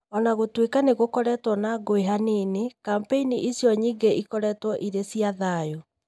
O na gũtuĩka nĩ gũkoretwo na ngũĩ hanini, kambĩini icio nyingĩ ikoretwo irĩ cia thayũ.